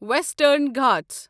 western Ghat